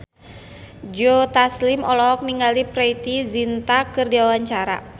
Joe Taslim olohok ningali Preity Zinta keur diwawancara